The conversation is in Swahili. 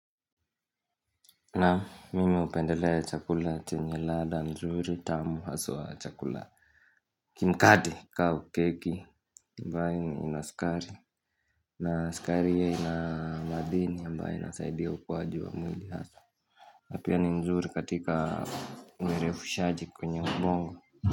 Naam mimi upendelea ya chakula chenye ladha nzuri tamu haswa chakula Kimkate kau keki ambayo ina skari na skari yei na madhini ambaye inasaidia ukuwaji wa mwili hasa na pia ni nzuri katika mwere fushaji kwenye ubongo.